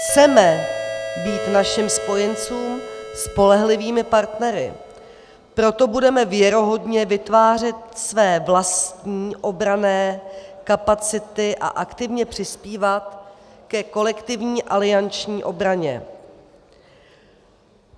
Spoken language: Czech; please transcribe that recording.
Chceme být našim spojencům spolehlivými partnery, proto budeme věrohodně vytvářet své vlastní obranné kapacity a aktivně přispívat ke kolektivní alianční obraně.